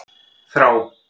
Þrá